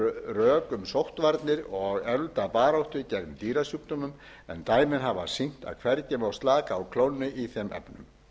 rök um sóttvarnir og eflda baráttu gegn dýrasjúkdómum en dæmin hafa sýnt að hvergi má slaka á klónni í þeim efnum